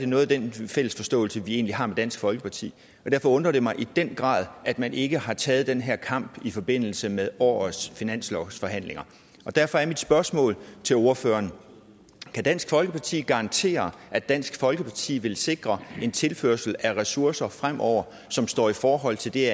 noget af den fælles forståelse vi egentlig har med dansk folkeparti og derfor undrer det mig i den grad at man ikke har taget den her kamp i forbindelse med årets finanslovsforhandlinger derfor er mit spørgsmål til ordføreren kan dansk folkeparti garantere at dansk folkeparti vil sikre en tilførsel af ressourcer fremover som står i forhold til det